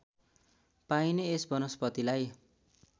पाइने यस वनस्पतिलाई